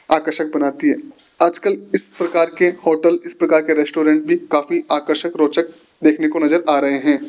आकर्षक बनाती आजकल इस प्रकार के होटल इस प्रकार के रेस्टोरेंट भी काफी आकर्षक रोचक देखने को नजर आ रहे हैं।